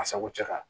A sago cɛ kan